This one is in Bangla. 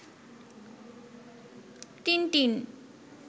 টিনটিন